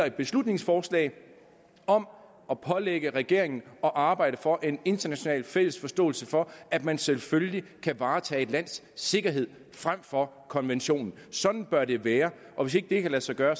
et beslutningsforslag om at pålægge regeringen at arbejde for en international fælles forståelse for at man selvfølgelig kan varetage et lands sikkerhedsinteresser frem for konventionen sådan bør det være og hvis ikke det kan lade sig gøre